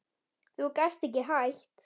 Þú gast ekki hætt?